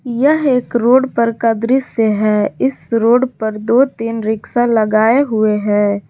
यह एक रोड पर का दृश्य है इस रोड पर दो तीन रिक्शा लगाए हुए हैं।